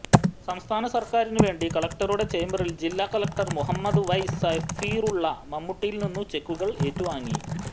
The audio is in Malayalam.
സംസ്ഥാന സർക്കാരിനുവേണ്ടി കലക്ടറുടെ ചേംബറിൽ ജില്ലാ കലക്ടർ മുഹമ്മദ് വൈ സഫീറുള്ള മമ്മൂട്ടിയിൽനിന്നും ചെക്കുകൾ ഏറ്റുവാങ്ങി